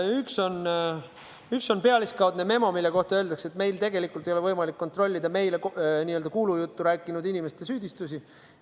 Üks on pealiskaudne memo, mille kohta öeldakse, et meil tegelikult ei ole võimalik kontrollida meile n-ö kuulujuttu rääkinud inimeste süüdistusi.